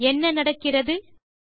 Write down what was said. என்ன நடக்கிறது160